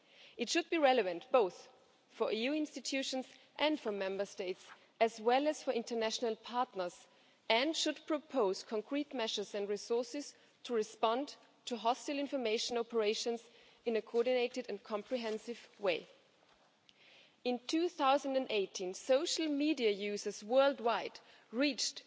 It should be relevant both for EU institutions and for Member States, as well as for international partners, and should propose concrete measures and resources to respond to hostile information operations in a coordinated and comprehensive way. In 2018, the number of social media users world wide reached